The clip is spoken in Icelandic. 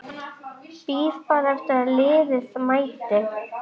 Bíð bara eftir að liðið mæti.